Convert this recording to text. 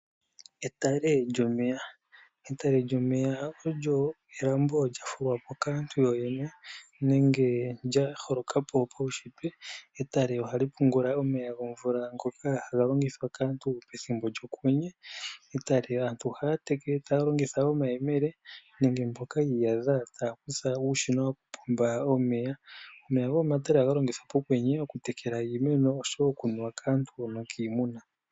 Etalle lyomeya Etale lyomeya olyo elambo lya fulwa po kaantu yoyene nenge lya holoka po konshitwe. Etale ohali pungula omeya gomvula ngoka haga longithwa kaantu pethimbo lyokwenye. Etale aantu ohaya teke taya longitha omayemele nenge mboka yi iyadha taya kutha uushina woku pomba omeya. Omeya homomatale ohaga longithwa pokwenye oku tekela iimeno oshowo oku nuwa kaantu nokiimuna.